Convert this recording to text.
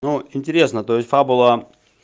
но интересно то есть фабула